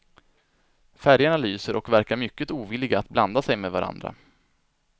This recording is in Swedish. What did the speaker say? Färgerna lyser och verkar mycket ovilliga att blanda sig med varandra.